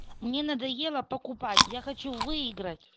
мне надоело покупать я хочу выиграть